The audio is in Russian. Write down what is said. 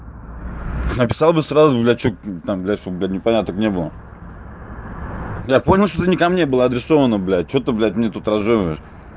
написал бы сразу блять что там блять чтобы непоняток не было я понял что ты не ко мне было адресовано блять что ты блять мне тут разжовываешь